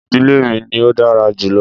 Ìdílé mi ni ò dára jùlọ